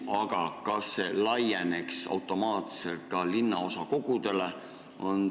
Aga kas see laieneks automaatselt ka linnaosakogudele?